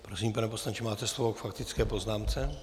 Prosím, pane poslanče, máte slovo k faktické poznámce.